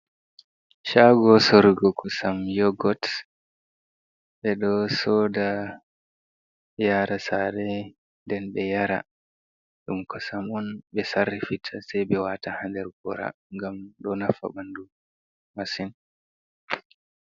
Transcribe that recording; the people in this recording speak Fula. Shago sorrugo kosam yogots. be do soda, yara sare, den be yara. Ɗum kosam un be sarrifita sai be wata ha ɲder gora gam do nafa bandu masin.